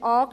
an.